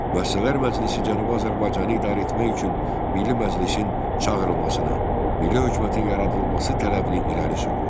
Müəssisələr məclisi Cənubi Azərbaycanı idarə etmək üçün Milli Məclisin çağırılmasını, Milli hökumətin yaradılması tələbini irəli sürdü.